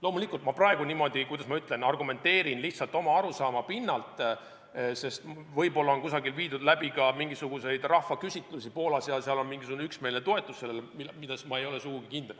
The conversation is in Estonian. Loomulikult ma praegu niimoodi, kuidas ma ütlen, argumenteerin lihtsalt oma arusaama pinnalt, sest võib-olla on kusagil Poolas tehtud ka mingisuguseid rahvaküsitlusi ja seal on sellele üksmeelne toetus, ehkki ma ei ole selles sugugi kindel.